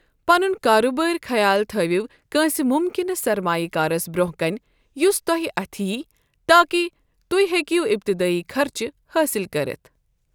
پنن كاربٲرۍ خیال تھٲوِو كٲنسہِ ممكِنہٕ سرمایہ كارس برونہہ كنۍ یس توہہ اتھہِ یی تاكہِ تُہۍ ہیكِو ابتدٲیی خرچہٕ حٲصِل كرِتھ ۔